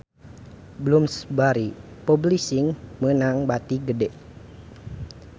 Bloomsbury Publishing meunang bati gede